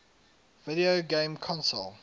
video game console